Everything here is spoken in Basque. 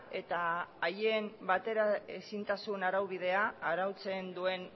eta haien bateraezintasunen araubidea arautzen duen